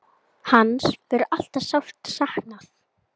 Hans verður alltaf sárt saknað.